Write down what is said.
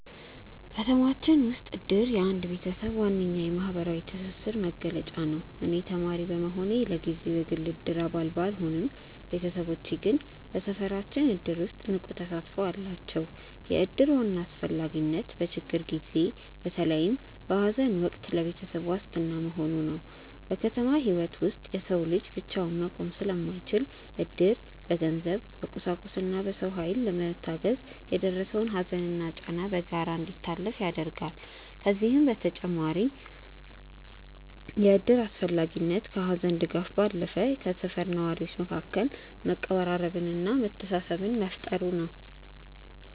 ከተማችን ውስጥ እድር የአንድ ቤተሰብ ዋነኛ የማህበራዊ ትስስር መገለጫ ነው። እኔ ተማሪ በመሆኔ ለጊዜው የግል የእድር አባል ባልሆንም፣ ቤተሰቦቼ ግን በሰፈራችን እድር ውስጥ ንቁ ተሳትፎ አላቸው። የእድር ዋና አስፈላጊነት በችግር ጊዜ፣ በተለይም በሐዘን ወቅት ለቤተሰብ ዋስትና መሆኑ ነው። በከተማ ህይወት ውስጥ የሰው ልጅ ብቻውን መቆም ስለማይችል፣ እድር በገንዘብ፣ በቁሳቁስና በሰው ኃይል በመታገዝ የደረሰውን ሐዘንና ጫና በጋራ እንዲታለፍ ያደርጋል። ከዚህም በተጨማሪ የእድር አስፈላጊነት ከሐዘን ድጋፍ ባለፈ በሰፈር ነዋሪዎች መካከል መቀራረብንና መተሳሰብን መፍጠሩ ነው።